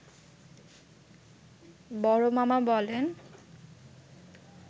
বড়মামা বলেন